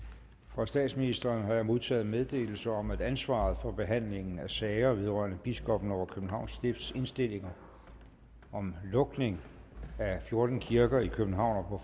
fra statsministeren har modtaget meddelelse om at ansvaret for behandlingen af sager vedrørende biskoppen over københavns stifts indstillinger om lukning af fjorten kirker i københavn og